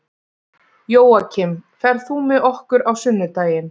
Jóakim, ferð þú með okkur á sunnudaginn?